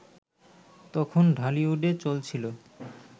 তখন ঢালিউডে চলছিল